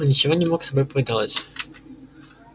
он ничего не мог с собой поделать